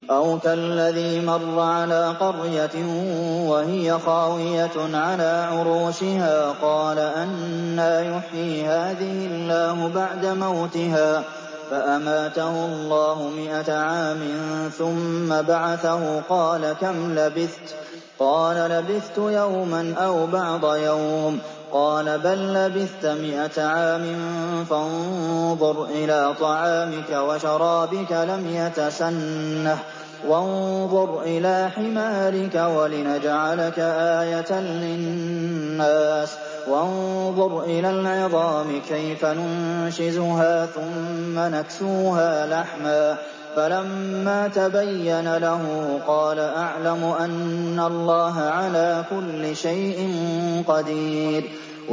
أَوْ كَالَّذِي مَرَّ عَلَىٰ قَرْيَةٍ وَهِيَ خَاوِيَةٌ عَلَىٰ عُرُوشِهَا قَالَ أَنَّىٰ يُحْيِي هَٰذِهِ اللَّهُ بَعْدَ مَوْتِهَا ۖ فَأَمَاتَهُ اللَّهُ مِائَةَ عَامٍ ثُمَّ بَعَثَهُ ۖ قَالَ كَمْ لَبِثْتَ ۖ قَالَ لَبِثْتُ يَوْمًا أَوْ بَعْضَ يَوْمٍ ۖ قَالَ بَل لَّبِثْتَ مِائَةَ عَامٍ فَانظُرْ إِلَىٰ طَعَامِكَ وَشَرَابِكَ لَمْ يَتَسَنَّهْ ۖ وَانظُرْ إِلَىٰ حِمَارِكَ وَلِنَجْعَلَكَ آيَةً لِّلنَّاسِ ۖ وَانظُرْ إِلَى الْعِظَامِ كَيْفَ نُنشِزُهَا ثُمَّ نَكْسُوهَا لَحْمًا ۚ فَلَمَّا تَبَيَّنَ لَهُ قَالَ أَعْلَمُ أَنَّ اللَّهَ عَلَىٰ كُلِّ شَيْءٍ قَدِيرٌ